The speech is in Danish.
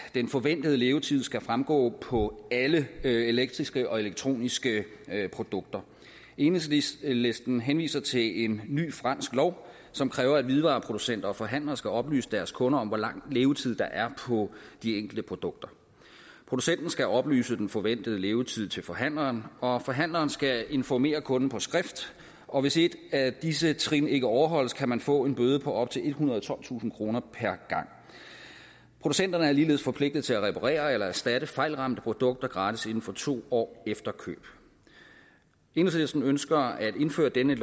den forventede levetid skal fremgå på alle elektriske og elektroniske produkter enhedslisten henviser til en ny fransk lov som kræver at hvidevareproducenter og forhandlere skal oplyse deres kunder om hvor lang levetid der er på de enkelte produkter producenten skal oplyse den forventede levetid til forhandleren og forhandleren skal informere kunden på skrift og hvis et af disse trin ikke overholdes kan man få en bøde på op til ethundrede og tolvtusind kroner per gang producenterne er ligeledes forpligtet til at reparere eller erstatte fejlramte produkter gratis inden for to år efter køb enhedslisten ønsker at indføre denne